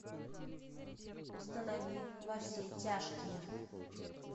установи во все тяжкие